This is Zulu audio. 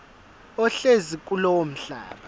ohlezi kulowo mhlaba